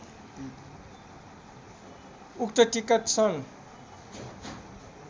उक्त टिकट सन्